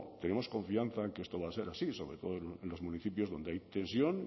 tenemos confianza en que esto va a ser así sobre todo en los municipios donde hay tensión